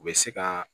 U bɛ se ka